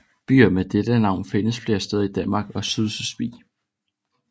Byer med dette navn findes flere steder i Danmark og Sydslesvig